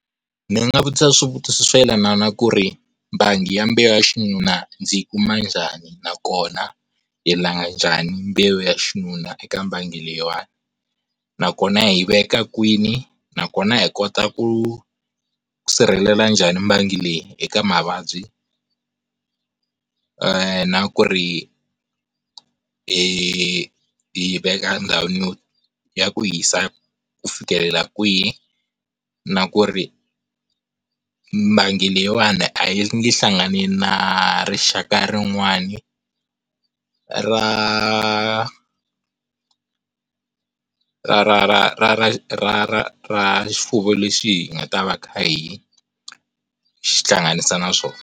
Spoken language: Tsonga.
Ndzi nga vutisa swivutiso swo yelana na ku ri bangi ya mbewu ya xinuna ndzi yi kuma njhani, nakona hi langha njhani mbewu ya xinuna eka mbangi leyiwani, nakona hi veka kwini, nakona hi kota ku ku sirhelela njhani mbangi leyi eka mavabyi eeh, na ku ri hi veka ndhawini ya ku hisa ku fikelela kwihi na ku ri mbangi leyiwani a yi nge hlangani na rixaka rin'wani ra ra ra ra ra ra ra ra ra xifuwo lexi hi nga ta va kha hi xihlanganisa naswona.